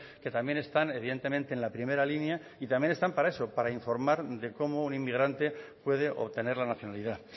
que también están evidentemente en la primera línea y también están para eso para informar de cómo un inmigrante puede obtener la nacionalidad